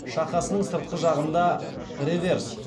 шақасының сыртқы жағында